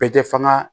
Bɛɛ tɛ fanga